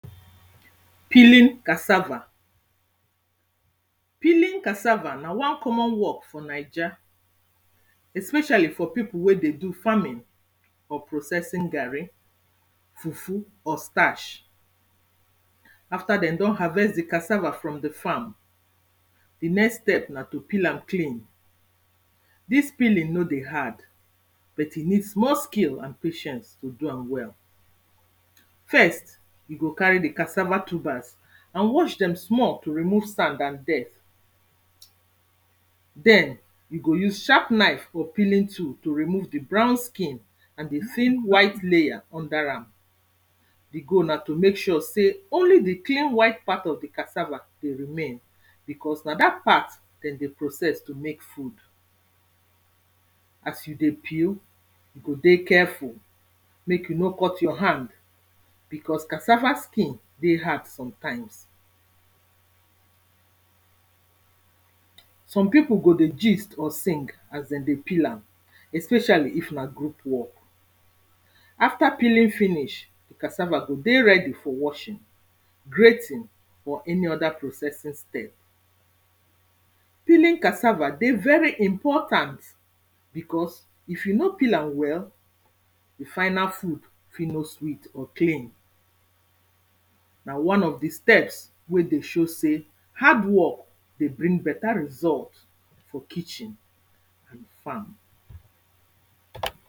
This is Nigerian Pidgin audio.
Peeling cassava. Peeling cassava na one common work for naija especially for pipo wey dey do farming or processing garri, fufu or starch. After dem don harvest di cassava from di farm, di next step na to peel am clean dis peeling no dey hard but e need small skill and patience to do am well. First, you go carry di cassava tubers and wash dem small to remove sand and dirt den, you go use sharp knife or peeling tool to remove di brown skin and di thin white layer under am. The goal na to mek sure sey only di clean white part of di cassava go remain becos na dat part dem dey process to mek food. As you dey peel, you go dey careful mek you no cut your hand becos cassava skin dey hard sometimes. Some pipo go dey gist or sing as dem dey peel am especially if na group work. After peeling finish, di cassava go dey ready for washing, grating or any other processing step. Peeling cassava dey very important becos if you no peel am well di final food fi no sweet or clean, na one of di steps wey dey show sey hard work dey bring better result for kitchen and farm.